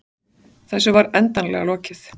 Þessu var endanlega lokið.